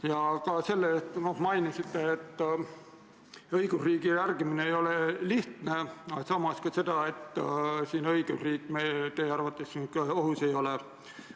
Ja aitäh ka selle eest, et te mainisite, et õigusriigi järgimine ei ole lihtne, aga samas ka seda, et õigusriik teie arvates siin ohus ei ole.